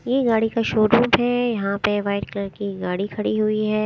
ये गाड़ी का शोरूम है। यहां पे वाइट कलर की गाड़ी खड़ी हुई है।